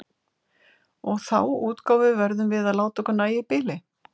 Og þá útgáfu verðum við að láta okkur nægja í bili.